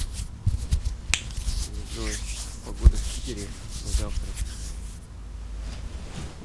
джой погода в питере на завтра